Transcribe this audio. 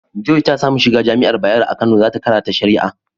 Joy ta samu shiga jami'ar bayaro a Kano za ta karata shari'a.